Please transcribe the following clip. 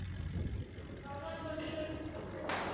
Hvað hryggir þig?